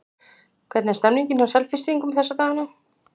Hvernig er stemmningin hjá Selfyssingum þessa dagana?